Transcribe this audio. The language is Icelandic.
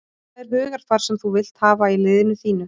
Það er hugarfar sem þú vilt hafa í liðinu þínu.